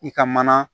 I ka mana